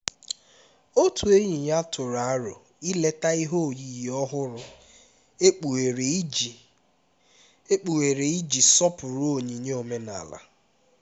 otu enyi ya tụrụ aro ileta ihe oyiyi ọhụrụ ekpughere iji ekpughere iji sọpụrụ onyinye omenala